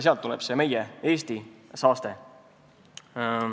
Sealt tuleb see meie, Eesti saaste.